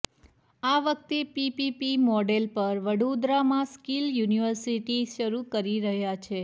આ વખતે P P P model પર વડોદરામાં સ્કીલ યુનિવર્સિટી શરૂ કરી રહ્યા છે